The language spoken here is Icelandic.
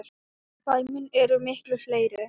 Dæmin eru miklu fleiri.